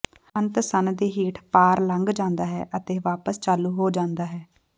ਅੰਤ ਸੰਨ ਦੇ ਹੇਠ ਪਾਰ ਲੰਘ ਜਾਂਦਾ ਹੈ ਅਤੇ ਵਾਪਸ ਚਾਲੂ ਹੋ ਜਾਂਦਾ ਹੈ